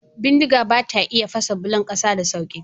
Bindiga bata iya fasa bulon ƙasa ta sauƙi.